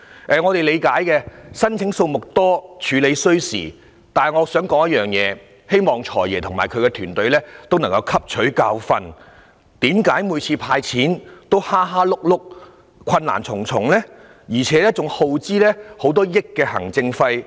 我們理解申請數目多，處理需時，但我想指出一點，希望"財爺"及其團隊可以汲取教訓，就是為何每次"派錢"也如此"蝦碌"，困難重重，而且更要花費上億元行政費用？